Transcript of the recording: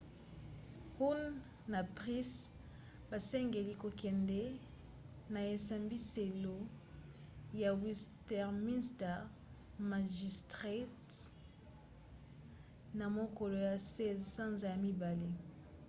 huhne na pryce basengeli kokende na esambiselo ya westminster magistrates na mokolo ya 16 sanza ya mibale